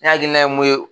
Ne hakilina ye mun ye